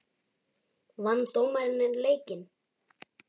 Vann dómarinn leikinn?